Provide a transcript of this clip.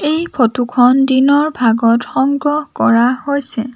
এই ফটো খন দিনৰ ভাগত সংগ্ৰহ কৰা হৈছে।